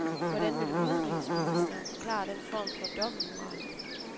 Hvordan vil udenrigsministeren forklare den form for dobbeltmoral?